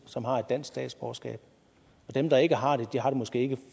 som har et dansk statsborgerskab og dem der ikke har det har det måske ikke